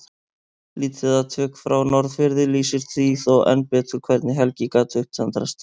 Lítið atvik frá Norðfirði lýsir því þó enn betur hvernig Helgi gat upptendrast.